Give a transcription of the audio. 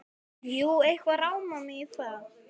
Jú, eitthvað rámar mig í það.